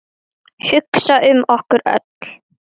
Hugsa um okkur öll.